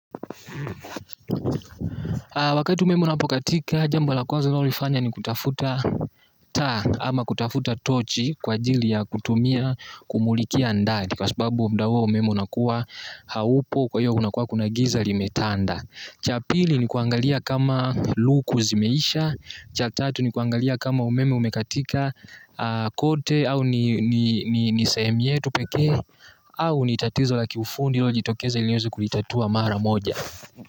Wakati umeme unapokatika, jambo la kwanza unaolifanya ni kutafuta taa. Ama kutafuta tochi kwa ajili ya kutumia kumulikia ndani kwa sababu mda huo umeme unakuwa haupo kwa hiyo unakuwa kuna giza limetanda. Cha pili ni kuangalia kama luku zimeisha. Cha tatu ni kuangalia kama umeme umekatika kote au ni sehemu yetu pekee. Au ni tatizo la kiufundi iliojitokeza ili uweze kulitatua mara moja.